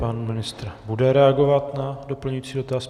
Pan ministr bude reagovat na doplňující dotaz.